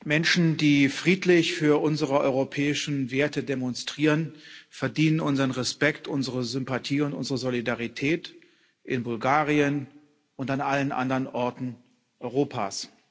Menschen, die friedlich für unsere europäischen Werte demonstrieren, verdienen unseren Respekt, unsere Sympathie und unsere Solidarität in Bulgarien und an allen anderen Orten Europas.